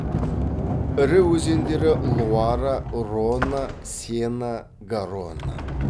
ірі өзендері луара рона сена гаронна